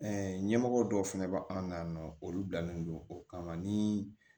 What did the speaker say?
ɲɛmɔgɔ dɔw fɛnɛ bɛ an na yan nɔ olu bilalen don o kama ni